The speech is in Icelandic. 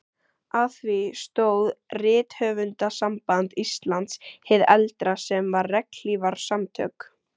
Að því stóð Rithöfundasamband Íslands hið eldra, sem var regnhlífarsamtök